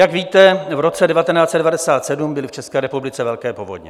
Jak víte, v roce 1997 byly v České republice velké povodně.